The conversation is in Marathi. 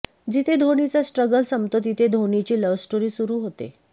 जिथे धोनीचा स्ट्रगल संपतो तिथे धोनीची लव्हस्टोरी सुरू होते